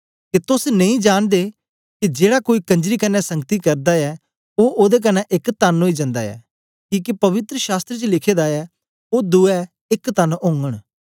के तोस नेई जांनदे के जेड़ा कोई कंजरी कन्ने संगति करदा ऐ ओ ओदे कन्ने एक तन ओई जंदा ऐ किके पवित्र शास्त्र च लिखे दा ऐ ओ दुए एक तन ओगन